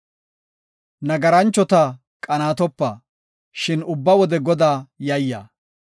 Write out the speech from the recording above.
Nagaranchota qanaatopa; shin ubba wode Godaa yayya.